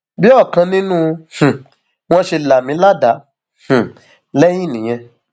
bí ọkan nínú um wọn ṣe là mí ládàá um lẹyìn nìyẹn